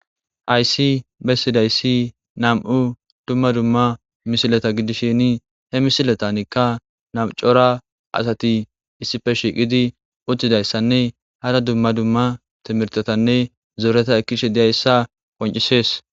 Hayssi bessidayssi nam"u dumma dumma misileta gidishini he misilatanikka namcora asati issippe shiiqidi uttidayssanne hada dumma dumma timirtotanne zooreta ekkishe diyayssa koncisees